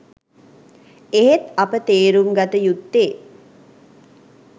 එහෙත් අප තේරුම් ගත යුත්තේ